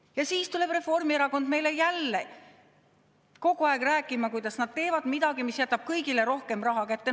Ja siis tuleb Reformierakond meile jälle rääkima, kuidas nad teevad midagi, mis jätab kõigile rohkem raha kätte.